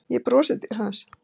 Ég brosi til hans.